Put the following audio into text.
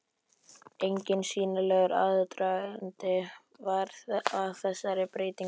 Enginn sýnilegur aðdragandi var að þessari breytingu.